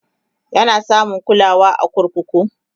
yana samun kulawa a kurkuku?